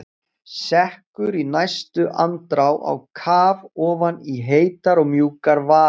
Sekkur í næstu andrá á kaf ofan í heitar og mjúkar varir.